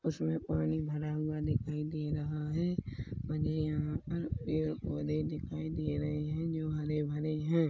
उसमे पानी भरा हुआ दिखाई दे रहा हैं और ये यहाँ पर पेड़-पौधे दिखाई दे रहे हैं जो हरे-भरे हैं।